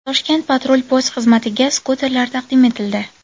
Toshkent patrul-post xizmatiga skuterlar taqdim etildi.